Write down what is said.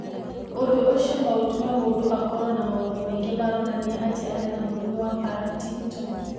Ũndũ ũcio no ũtũme mũndũ akorũo na maũndũ maingĩ maronania atĩ arĩ na mũrimũ wa Partington.